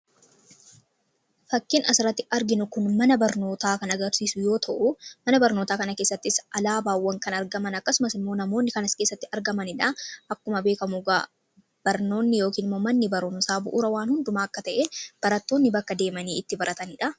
fakkin asratti arginu kun mana barnootaa kan agarsiisu yoo ta'u mana barnootaa kana keessattis alaabaawwan kan argaman akkasumas immoo namoonni kanas keessatti argamaniidha akkuma beekamuug barnoonni yooknmomanni barnosaa bu'uura waan hundumaa akka ta'e barattoonni bakka deemanii itti barataniidha